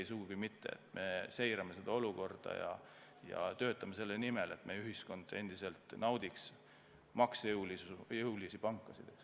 Ei, sugugi mitte, me seirame olukorda ja töötame selle nimel, et meie ühiskond endiselt naudiks maksejõulisi pankasid.